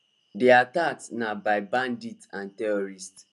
di attacks na by bandits and terrorists